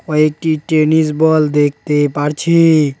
কয়েকটি tennis ball দেখতে পারছি।